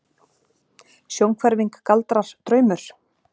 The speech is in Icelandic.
Sjónhverfing, galdrar, draumur?